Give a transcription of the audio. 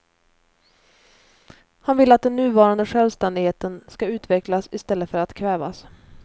Han vill att den nuvarande självständigheten ska utvecklas i stället för att kvävas.